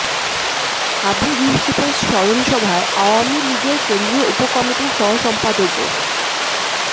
আবু ইউসুফের স্মরণসভায় আওয়ামী লীগের কেন্দ্রীয় উপ কমিটির সহ সম্পাদক ও